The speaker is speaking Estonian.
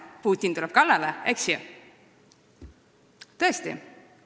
Putin tuleb kallale, eks ju?